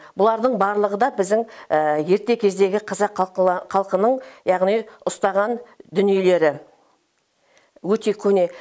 бұлардың барлығы да біздің ерте кездегі қазақ халқының яғни ұстаған дүниелері өте көне